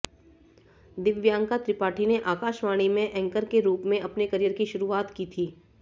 दिव्यांका त्रिपाठी ने आकाशवाणी में एंकर के रुप में अपने करियर की शुरुआत की थी